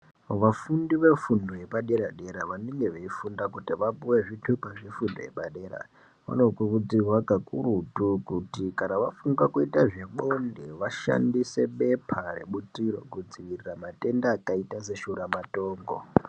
Vafundi vefundo yepadera dera vanenge veifunda kuti vapuwe zvitupa zvefundo yepadera vanokurudzirwa kakurutu kuti kana vafungabkuita zvebonde vashandise bepa Rebutiro kudziirira matenda akaita seshura matongo.